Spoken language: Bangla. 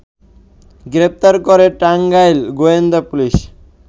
গ্রেপ্তার করে টাঙ্গাইল গোয়েন্দা পুলিশ